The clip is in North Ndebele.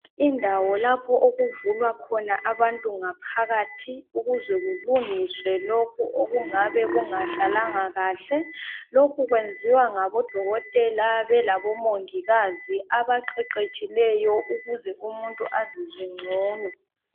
Indawo lapho okuvulwa khona abantu ngaphakathi ukuze kulungiswe lokhu okungabe kungahlalanga kuhle lokhu kwenziwa ngabodokotela belabomongikazi abaqeqetshileyo ukuze umuntu azizwe ngcono